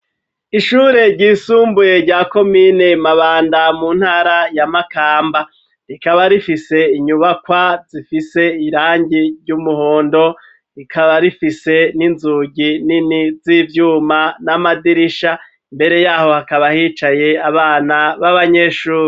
Ishure ryisumbuye rya komine mabanda ,mu ntara ya makamba ,rikaba rifise inyubakwa zifise irangi ry'umuhondo ,rikaba rifise n'inzugi nini z'ivyuma, n'amadirisha ,mbere yaho hakaba hicaye abana, b'abanyeshuri.